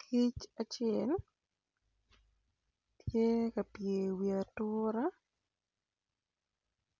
Kic acel tye ka pye i wi atura